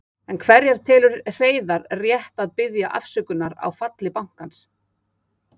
Enn hverja telur Hreiðar rétt að biðja afsökunar á falli bankans?